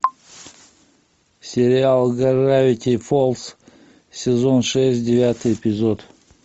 сериал гравити фолз сезон шесть девятый эпизод